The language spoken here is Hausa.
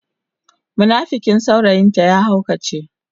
munafikin saurayin ta ya haukace.